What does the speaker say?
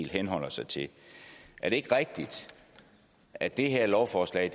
henholder sig til er det ikke rigtigt at det her lovforslag